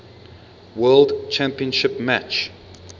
world championship match